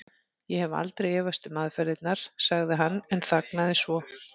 Ég hef aldrei efast um aðferðirnar. sagði hann en þagnaði svo.